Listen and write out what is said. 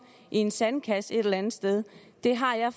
i en sandkasse et eller andet sted det har jeg